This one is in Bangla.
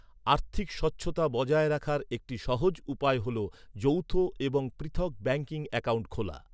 আর্থিক স্বচ্ছতা বজায় রাখার একটি সহজ উপায় হল যৌথ এবং পৃথক ব্যাঙ্কিং অ্যাকাউন্ট খোলা।